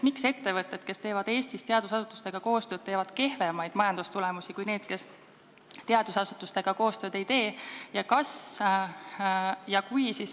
Miks ettevõtted, kes teevad Eestis teadusasutustega koostööd, saavutavad kehvemaid majandustulemusi kui need, kes teadusasutustega koostööd ei tee?